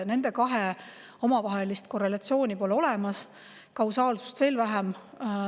Nende kahe omavahelist korrelatsiooni pole olemas, kausaalsust veel vähem.